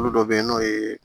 Olu dɔ bɛ yen n'o ye